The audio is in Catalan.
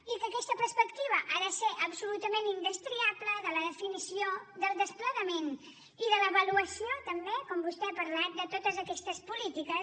i que aquesta perspectiva ha de ser absolutament indestriable de la definició del desplegament i de l’avaluació també com vostè ha parlat de totes aquestes polítiques